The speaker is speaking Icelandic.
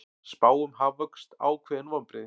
Spá um hagvöxt ákveðin vonbrigði